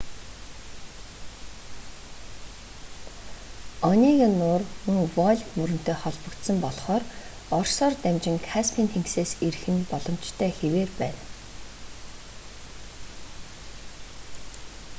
онега нуур мөн волг мөрөнтэй холбогдсон болхоор оросоор дамжин каспийн тэнгисээс ирэх нь боломжтой хэвээр байна